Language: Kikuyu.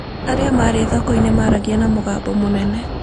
Arĩa marĩ thoko-inĩ nĩ maragia na mũgambo mũnene.